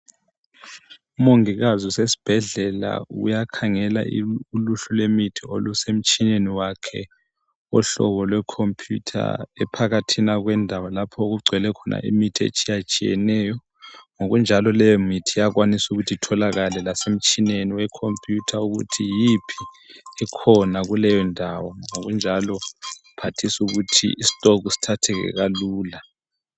Umongikazi usesibhedlela uyakhangela uluhlu lwemithi olusemtshineni wakhe, ohlobo lwekhompuyutha ephakathina kwendawo lapho okugcwele khona imithi etshiyatshiyeneyo, ngokunjalo leyomithi iyakwanisa ukuthi itholakale lasemtshineni wekhompuyutha ukuthi yiphi ekhona kuleyondawo ngokunjalo kuphathise ukuthi isitokhu sithatheke kalula.